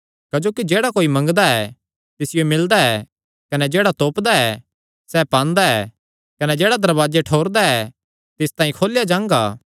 क्जोकि जेह्ड़ा कोई मंगदा ऐ तिसियो मिलदा ऐ कने जेह्ड़ा तोपदा ऐ सैह़ पांदा ऐ कने जेह्ड़ा दरवाजे ठोरदा ऐ तिस तांई खोलेया जांगा